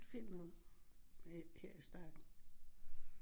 Find noget her i starten